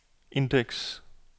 indeks